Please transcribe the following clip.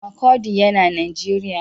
Makurdi yana Najeriya.